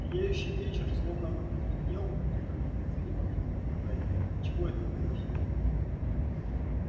сияющий вечер словно бы потускнел только близнецы не могли бы сказать отчего это произошло